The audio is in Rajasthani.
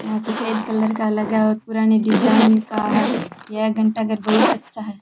यहां सफेद कलर का लगा हुआ है पुराने डिज़ाइन का है यह घंटाघर बहुत अच्छा है।